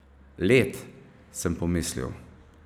Led, sem pomislil.